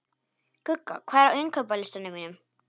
Gugga, hvað er á innkaupalistanum mínum?